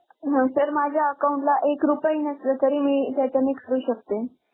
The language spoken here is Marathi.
अं सर माझ्या Account ला एक रुपया ही नसेल तरी मी त्याच्याने करू शकते?